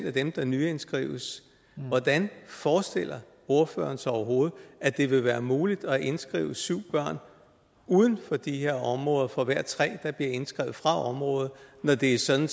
af dem der nyindskrives hvordan forestiller ordføreren sig så overhovedet at det vil være muligt at indskrive syv børn uden for de her områder for hver tre der bliver indskrevet fra området når det er sådan